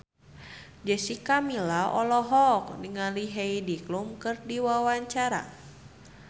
Jessica Milla olohok ningali Heidi Klum keur diwawancara